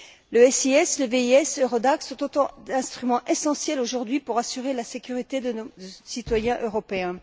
Le SIS, le VIS, EURODAC sont autant d'instruments essentiels aujourd'hui pour assurer la sécurité de nos citoyens européens.